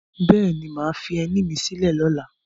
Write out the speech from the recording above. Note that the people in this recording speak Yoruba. Bẹ́ẹ̀ ni, mà á fi ẹní mi sílẹ̀ lọ́la